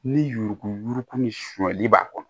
Ni yuruku yuruku ni sumanli b'a kɔnɔ